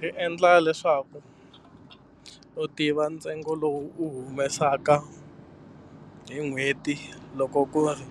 Ri endla leswaku u tiva ntsengo lowu u humesaka hi n'hweti loko ku ri